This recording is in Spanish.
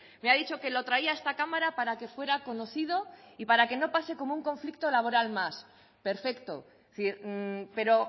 me ha dicho que lo traía a esta cámara para que fuera conocido y para que no pase como un conflicto laboral más perfecto pero